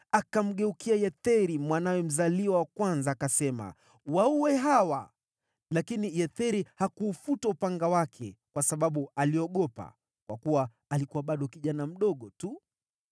Akamgeukia Yetheri, mwanawe mzaliwa wa kwanza, akasema, “Waue hawa!” Lakini Yetheri hakuufuta upanga wake, kwa sababu aliogopa, kwa kuwa alikuwa bado kijana mdogo tu.